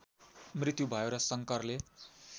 मृत्यु भयो र शङ्करले